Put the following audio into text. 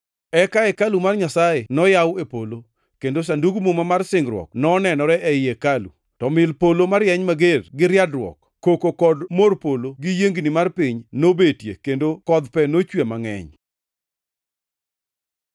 Eka hekalu mar Nyasaye noyaw e polo, kendo Sandug Muma mar singruok nonenore ei hekalu; to mil polo marieny mager gi riadruok, koko kod mor polo gi yiengni mar piny nobetie kendo kodh pe nochwe mangʼeny.